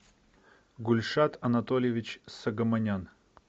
гульшат анатольевич согомонян